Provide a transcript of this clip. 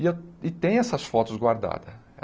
E eu e tem essas fotos guardadas.